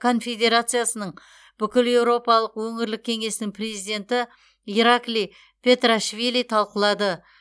конфедерациясының бүкілеуропалық өңірлік кеңесінің президенті ираклий петриашвили талқылады